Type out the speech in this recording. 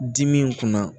Dimi in kunna